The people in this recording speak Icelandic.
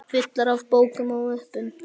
Fullar af bókum og möppum.